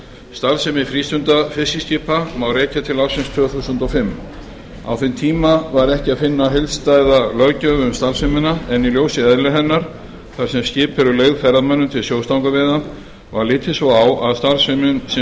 starfsemi frístundafiskiskipa má rekja til ársins tvö þúsund og fimm á þeim tíma var ekki að finna heildstæða löggjöf um starfsemina en í ljósi eðlis hennar þar sem skip eru leigð ferðamönnum til sjóstangaveiða var litið svo á að starfsemin sem